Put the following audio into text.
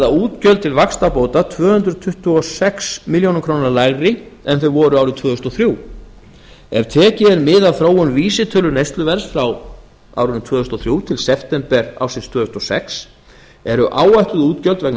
útgjöld til vaxtabóta tvö hundruð tuttugu og sex milljónir króna lægri en þau voru árið tvö þúsund og þrjú ef tekið er mið af þróun vísitölu neysluverðs frá árinu tvö þúsund og þrjú til september ársins tvö þúsund og sex eru áætluð útgjöld vegna